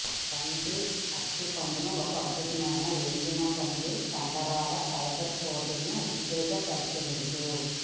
వంటి అత్తి పండ్లను ఒక అద్భుతమైన ఎండిన పండ్ల కండరాల ఫైబర్ ప్రోటీన్ ఉత్తేజపరిచేందుకు